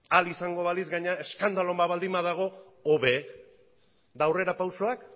ahal izango balitz gainera eskandaluren bat baldin badago hobe eta aurrerapausoak